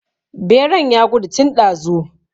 Beran ya gudu tun ɗazu